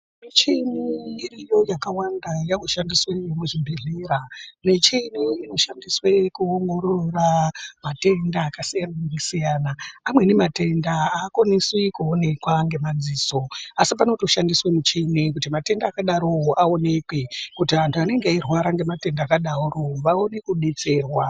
Michini iriyo yakawanda yakushandiswe muzvibhedhlera michini inoshandiswe kuongorora matenda akasiyana-siyana. Amweni matenda hakwanisi kuonekwa ngemadziso. Asi panotoshandiswe michini kuti matenda akadarovo aonekwe kuti antu anenge eirwara ngematenda akadaro vaone kubetserwa.